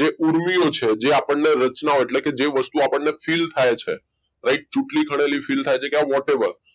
જે ઊર્મિઓ છે આપણને રચનાઓ જે વસ્તુ આપણને feel થાય છે right ચૂંટણી ખરેલી feel થાય છે